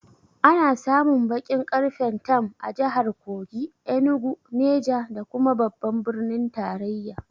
Ana samun baƙin ƙarfen tam a jahar Kogi, Enugu, Neja da kuma babban birnin tarayya